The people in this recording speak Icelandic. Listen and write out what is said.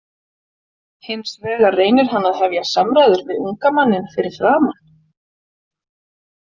Hins vegar reynir hann að hefja samræður við unga manninn fyrir framan.